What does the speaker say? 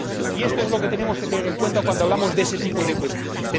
Y esto es lo que tenemos que tener en cuenta cuando hablamos de ese tipo de cuestiones.